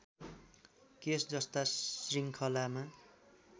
case जस्ता श्रृङ्खलामा